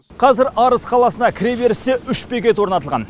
қазір арыс қаласына кіре берісте үш бекет орнатылған